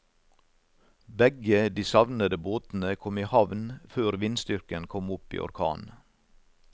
Begge de savnede båtene kom i havn før vindstyrken kom opp i orkan.